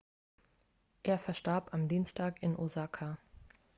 er verstarb am dienstag in osaka